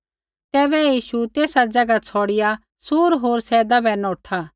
तैबै यीशु तेसा ज़ैगा छ़ौड़िआ सूर होर सैदा बै नौठा